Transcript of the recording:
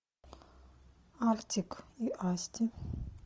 артик и асти